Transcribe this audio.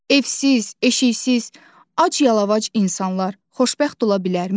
Evsiz, eşiksiz, ac-yalavac insanlar xoşbəxt ola bilərmi?